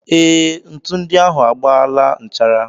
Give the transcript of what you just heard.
Ee, ntu ndị ahụ agbaala nchara.